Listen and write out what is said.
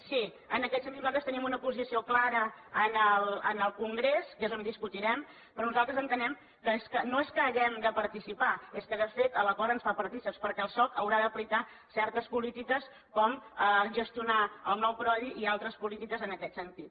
sí en aquest sentit nosaltres teníem una posició clara en el congrés que és on discutirem però nosaltres entenem que no és que hi hàgim de participar és que de fet l’acord ens fa partícips perquè el soc haurà d’aplicar certes polítiques com gestionar el nou prodi i altres polítiques en aquest sentit